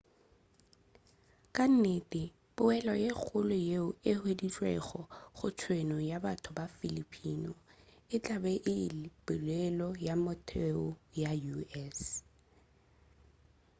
ka nnete poelo ye kgolo yeo e hweditšwego go tshenyo ya batho ba filipino e tla ba le poelo ya motheo ya u.s